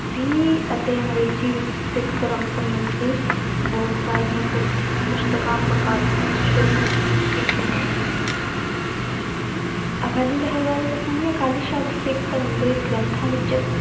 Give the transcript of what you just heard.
ਵੀ ਅਤੇ ਅੰਗਰੇਜ਼ੀ ਵਿੱਚ ਸਿੱਖ ਧਰਮ ਸੰਬੰਧੀ ਬਹੁਤ ਸਾਰੀਆਂ ਪੁ~ ਪੁਸਤਕਾਂ ਪ੍ਰਕਾਸ਼ਿਤ ਕੀਤੀਆਂ ਗਈਆਂ ਅਕਾਲੀ ਲਹਿਰ ਬਾਰੇ ਦੱਸਾਂਗੀ ਅਕਾਲੀ ਸ਼ਬਦ ਸਿੱਖ ਧਰਮ ਦੇ ਗ੍ਰੰਥਾਂ ਵਿੱਚ